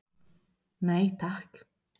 Nei takk.